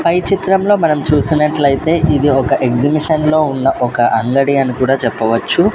పై చిత్రంలో మనం చూసినట్లయితే ఇది ఒక ఎగ్జిబిషన్లో ఉన్న ఒక అంగడి అని కూడా చెప్పవచ్చు.